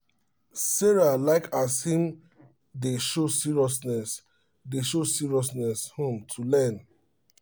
sarah like as him dey show seriousness dey show seriousness um to learn